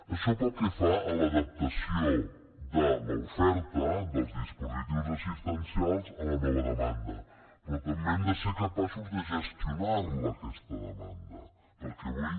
això pel que fa a l’adaptació de l’oferta dels dispositius assistencials a la nova demanda però també hem de ser capaços de gestionar la aquesta demanda perquè avui